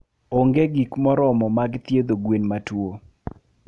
onge gik moromo mag thiedho gwen matuo.